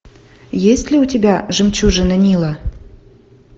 есть ли у тебя жемчужина нила